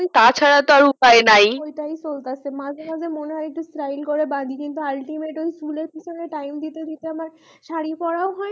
তাছাড়া তো আর উপায় নাই ওটাই তো মাঝে মাঝে মনে হয় একটু style করে বাঁধি কিন্তু altimate চুলের পিছনে time দিতে দিতে আমার শাড়ী পোড়াও হয়না